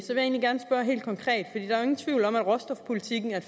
ingen tvivl om at råstofpolitikken er